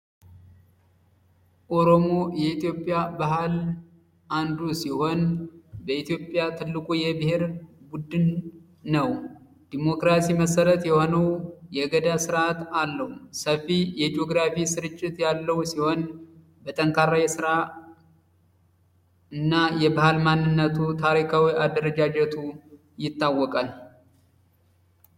ኦሮሞ የኢትዮጵያ ባህል አንዱ ሲሆን በኢትዮጵያ ትልቁ የብሄርን ቡድን ነው ዲሞክራሲ መሰረት የሆኑ የገዳ ስርዓት አለው ሰፊ ስርጭት ያለው ሲሆን የስራ የባህል ማንነቱ ታሪካዊ አደረጃጀቱ ይታወቃል